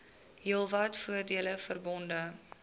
heelwat voordele verbonde